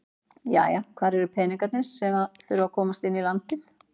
Jæja hvar eru peningarnir sem að þurfa að komast inn í landið?